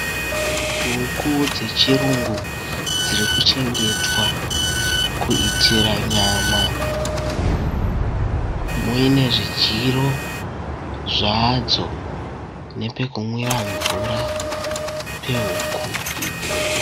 Huku dzechirungu dziri kuchengetwa kuitira nyama muine zvidyiro zvadzo nepekumwira mvura pehuku idzi